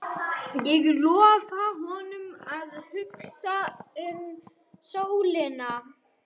Ég lofa honum að hugsa um sólina.